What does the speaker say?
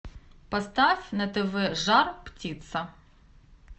поставь на тв жар птица